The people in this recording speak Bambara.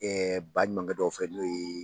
Ɛɛ baɲumankɛ dɔw fɛ n'o ye